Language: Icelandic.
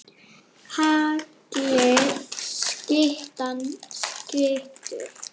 Hagli skyttan skýtur.